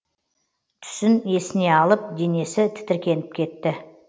түсін есіне алып денесі тітіркеніп кетті